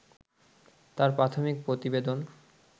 তার প্রাথমিক প্রতিবেদন